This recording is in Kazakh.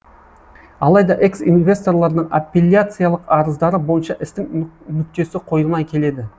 алайда экс инвесторлардың аппиляциялық арыздары бойынша істің нүктесі қойылмай келеді